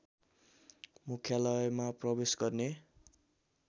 मुख्यालयमा प्रवेश गर्ने